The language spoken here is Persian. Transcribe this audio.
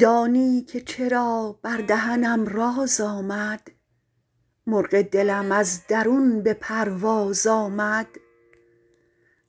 دانی که چرا بر دهنم راز آمد مرغ دلم از درون به پرواز آمد